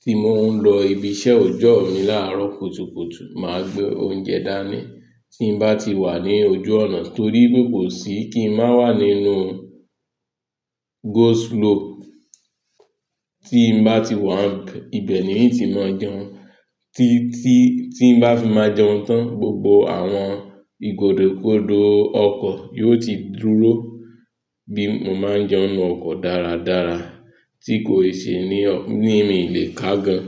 tí mò ń lọ ibi iṣẹ́ ọjọ́ mi láàárọ̀ kùtùkùtù, màá gbé oúnjẹ dání tí n bá ti wà ní ojú ọ̀nà torí pe kosì kí n má wà nínú go slow. Tí n bá ti wà ibẹ̀ ni iti máa jẹun. Ti tí tí n bá fi máa jẹun tán, gbogbo àwọn ìgòdòkòdo ọkọ̀ yó ti dúró bí mo máa ń jẹun nínú ọkọ̀ dáradára tí kò ṣe ní ní mi lè ká gan.